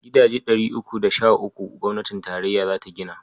Gidaje ɗari uku da sh uku gwamnatin tarayya za ta gina.